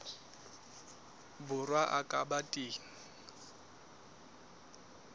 borwa a ka ba teng